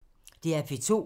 DR P2